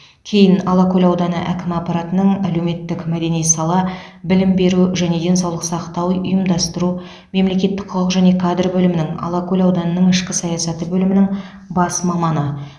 кейін алакөл ауданы әкімі аппаратының әлеуметтік мәдени сала білім беру және денсаулық сақтау ұйымдастыру мемлекеттік құқық және кадр бөлімінің алакөл ауданының ішкі саясаты бөлімінің бас маманы